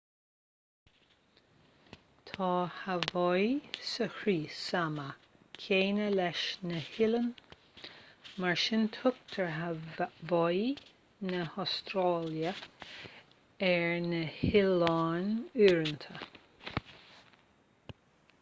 tá haváí sa chrios ama céanna leis na hoileáin mar sin tugtar haváí na hastráile ar na hoileáin uaireanta